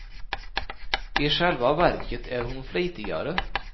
I själva verket är hon flitigare.